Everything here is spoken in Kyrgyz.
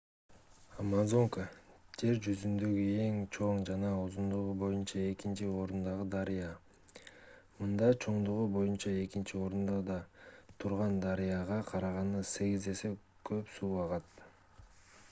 амазонка жер жүзүндөгү эң чоң жана узундугу боюнча экинчи орундагы дарыя мында чоңдугу боюнча экинчи орунда турган дарыяга караганда 8 эсе көп суу агат